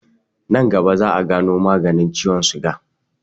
Nan gaba za'a gano maganin ciwon suga.